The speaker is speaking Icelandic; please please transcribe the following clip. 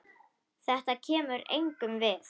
Þetta kemur engum við.